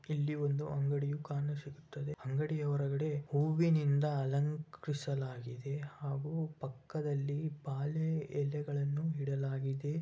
ಇಲ್ಲಿ ಒಂದು ಅಂಗಡಿ ಕಾಣಿಸುತ್ತದೆ ಅಂಗಡಿಯಹೊರಗಡೆ ಹೂವಿನಿಂದ ಅಲಂಕರಿಸಲಾಗಿದೆ. ಹಾಗು ಪಕ್ಕದಲ್ಲಿಬಾಳೆ ಎಲೆಗಳನ್ನು ಇಡಲಾಗಿದೆ.